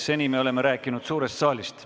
Seni me oleme rääkinud suurest saalist.